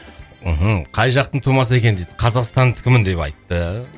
мхм қай жақтың тумасы екен дейді қазақстандікімін деп айтты